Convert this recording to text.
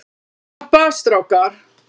Slappa af strákar!